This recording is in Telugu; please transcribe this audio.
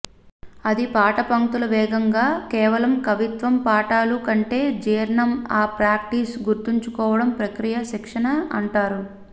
అది పాట పంక్తులు వేగంగా కేవలం కవిత్వం పాఠాలు కంటే జీర్ణం ఆ ప్రాక్టీస్ గుర్తుంచుకోవడం ప్రక్రియ శిక్షణ అంటారు